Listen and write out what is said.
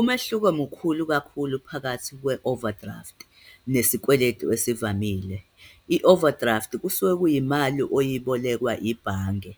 Umehluko mkhulu kakhulu phakathi kwe-overdraft nesikweletu ezivamile. I-overdraft kusuke kuyimali oyibolekwa ibhange